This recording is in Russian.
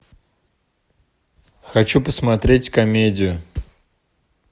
хочу посмотреть комедию